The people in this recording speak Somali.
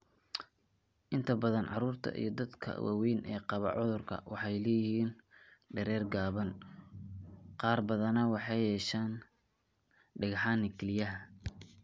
Inta badan carruurta iyo dadka waaweyn ee qaba cudurkan waxay leeyihiin dherer gaaban, qaar badanna waxay yeeshaan dhagxaan kelyaha.